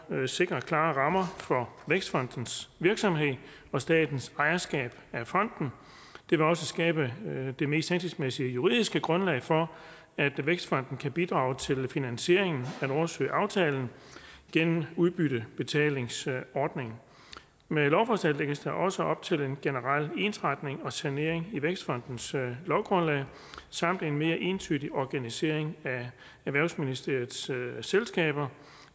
sikre klare rammer for vækstfondens virksomhed og statens ejerskab af fonden det vil også skabe det mest hensigtsmæssige juridiske grundlag for at vækstfonden kan bidrage til finansieringen af nordsøaftalen gennem udbyttebetalingsordningen med lovforslaget lægges der også op til en generel ensretning og sanering i vækstfondens lovgrundlag samt en mere entydig organisering af erhvervsministeriets selskaber